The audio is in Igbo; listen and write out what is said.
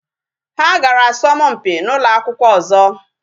Ha gara asọmpi na ụlọ akwụkwọ ọzọ.